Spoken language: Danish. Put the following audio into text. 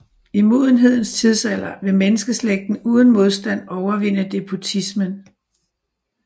I Modenhedens tidsalder vil menneskeslægten uden modstand overvinde despotismen